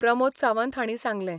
प्रमोद सावंत हांणी सांगलें.